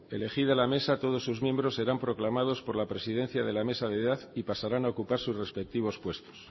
elegida la mesa todos sus miembros serán proclamados por la presidencia de la mesa de edad y pasarán a ocupar sus respectivos puestos